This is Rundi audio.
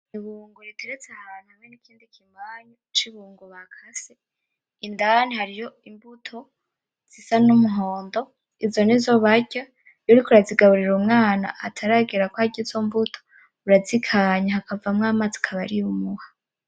Ibungo riteretse ahantu hamwe n'ikindi kimanyu c'ibungo bakase indani hariyo imbuto zisa n'umuhondo izo nizo barya iyo uriko urazigaburira umwana ataragera kwarya izo mbuto urazikanya hakavamwo amazi akaba ariyo umuha.